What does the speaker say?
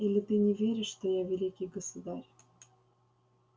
или ты не веришь что я великий государь